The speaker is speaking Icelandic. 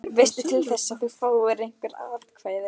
Veistu til þess að þú fáir einhver atkvæði?